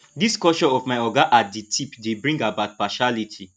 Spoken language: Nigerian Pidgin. this culture of my oga at di tip dey bring about partiality